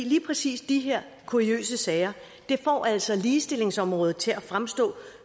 lige præcis de her kuriøse sager får altså ligestillingsområdet til at fremstå